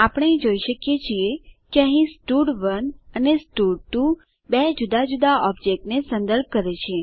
આપણે જોઈ શકીએ છીએ કે અહીં સ્ટડ1 અને સ્ટડ2 બે જુદા જુદા ઓબજેક્ટને સંદર્ભ કરે છે